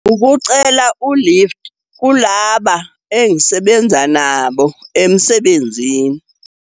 Ukucela u-lift kulaba engisebenza nabo emsebenzini.